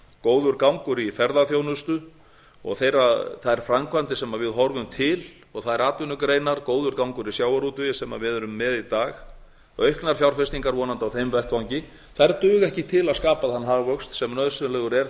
góður gangur í ferðaþjónustu og þær framkvæmdir sem við horfum til og þær atvinnugreinar góður gangur í sjávarútvegi sem við erum með í dag auknar fjárfestingar vonandi á þeim vettvangi þær duga ekki til að skapa þann hagvöxt sem nauðsynlegur er